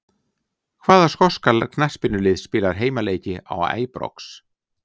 Hvaða skoska knattspyrnulið spilar heimaleiki á Æbrox?